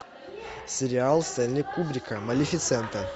сериал стэнли кубрика малефисента